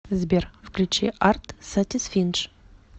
сбер включи арт сатисфиндж